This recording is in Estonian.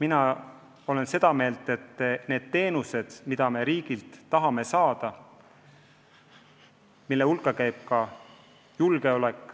Mina olen seda meelt, et need on teenused, mida me riigilt tahame saada – riigi julgeolek